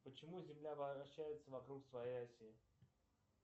почему земля вращается вокруг своей оси